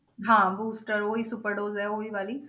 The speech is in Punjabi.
ਹਾਂ booster ਉਹੀ super dose ਹੈ ਉਹੀ ਵਾਲੀ